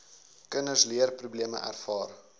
kinders leerprobleme ervaar